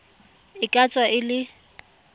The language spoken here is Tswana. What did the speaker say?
e ka tswa e le